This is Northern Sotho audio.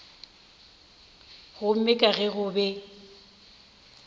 gomme ka ge go be